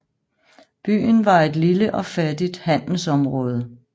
Byen var et lille og fattigt handelsområde